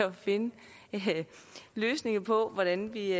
at finde løsninger på hvordan vi